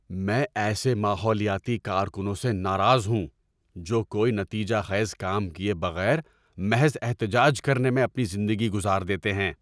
میں ایسے ماحولیاتی کارکنوں سے ناراض ہوں جو کوئی نتیجہ خیز کام کیے بغیر محض احتجاج کرنے میں اپنی زندگی گزار دیتے ہیں۔